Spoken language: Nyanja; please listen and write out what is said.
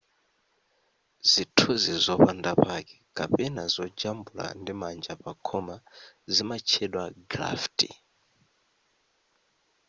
zithunzi zopanda pake kapena zojambula ndimanja pa khoma zimatchedwa graffiti